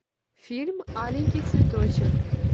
фильм аленький цветочек